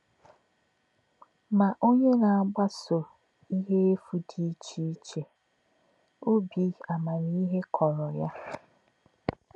“Mà̄ ọ̀nyé̄ nā̄-àgbà̄sò̄ íhè̄ èfù̄ dì̄ íchè̄ ìchè̄, ọ̀bí̄ àmàmíhè̄ kọ̄ró̄ yá̄.”